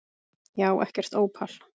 Ég á ekkert ópal